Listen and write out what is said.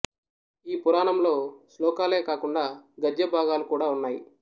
ఈ పురాణంలో శ్లోకాలే కాకుండా గద్య భాగాలు కూడా ఉన్నాయి